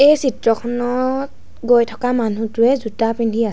এই চিত্ৰখনত গৈ থকা মানুহটোৱে জোতা পিন্ধি আছ --